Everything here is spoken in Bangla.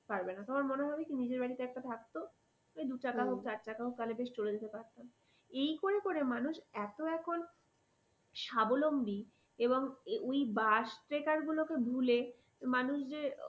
পারবেনা তোমার মনে হবে কি তোমার নিজের বাড়িতে একটা থাকতো তো দু চাকা হোক চার চাকা হোক তাহলে বেশ চলে যেতে পারতাম এই করে করে মানুষ এত এখন স্বাবলম্বী এবং ওই বাস টেকার গুলোকে ভুলে মানুষ যে